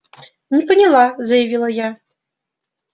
не поняла заявила я